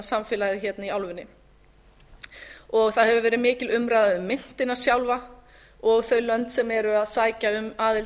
samfélagið hérna í álfunni það hefur verið mikil umræða um myntina sjálfa og þau lönd sem eru að sækja um aðild að